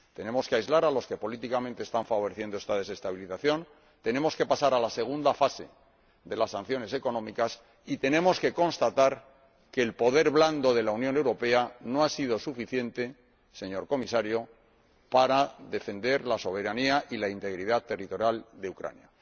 Tenemos que aislar a los que políticamente están favoreciendo esta desestabilización, pasar a la segunda fase de las sanciones económicas y constatar que el poder blando de la Unión Europea no ha sido suficiente, señor Comisario, para defender la soberanía y la integridad territorial de Ucrania.